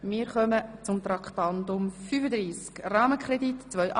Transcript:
Wir kommen zu Traktandum 35.